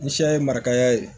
Ni siya ye marikaya ye